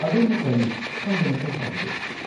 ꯑꯗꯣꯝꯅ ꯀꯔꯤ ꯈꯪꯕ ꯃꯊꯧ ꯇꯥꯕꯒꯦ?